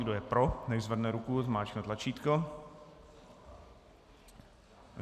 Kdo je pro, nechť zvedne ruku, zmáčkne tlačítko.